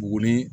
Wuli